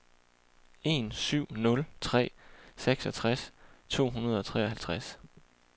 en syv nul tre seksogtres to hundrede og treoghalvtreds